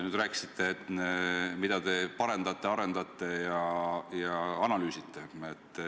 Te rääkisite, mida te parendate, arendate ja analüüsite.